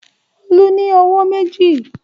Olú ní ọwọ́ méjì.